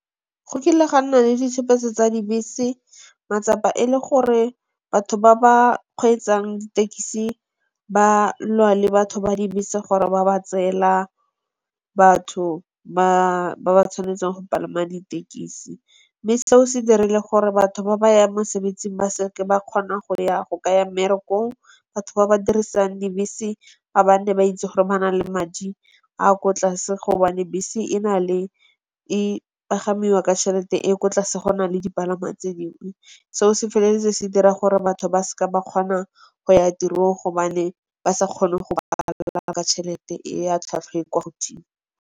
Go kile ga nna le ditshopetso tsa dibese. Matsapa e le gore batho ba ba kgweetsang ditekisi ba lwa le batho ba dibese gore ba ba tseela batho ba ba tshwanetseng go palama ditekisi. Mme seo se dirile gore batho ba ba yang mosebetsing ba seke ba kgona go ka ya mmerekong. Batho ba ba dirisang dibese ba nne ba itse gore ba na le madi a kwa tlase gobane bese e pagamiwa ke chelete e ko tlase go nale dipalangwa tse dingwe. Seo se feleletse se dira gore batho ba seke ba kgona go ya tirong gobane ba sa kgone go ka tšhelete e a tlhwatlhwa e kwa godimo.